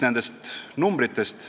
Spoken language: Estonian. Nüüd siis aga numbritest.